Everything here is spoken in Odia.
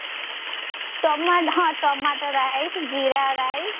ଟମା ହଁ tomato rice ଜିରା rice